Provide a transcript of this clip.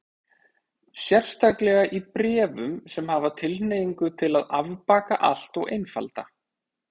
Sérstaklega í bréfum sem hafa tilhneigingu til að afbaka allt og einfalda.